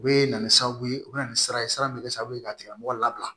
U bɛ na ni sababu ye u bɛ na ni sira ye sira bɛ kɛ sababu ye ka tigilamɔgɔ labila